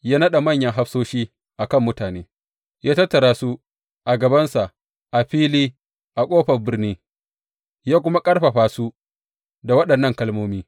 Ya naɗa manyan hafsoshi a kan mutane, ya tattara su a gabansa a fili a ƙofar birni, ya kuma ƙarfafa su da waɗannan kalmomi.